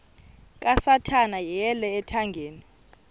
kasathana yeyele ethangeni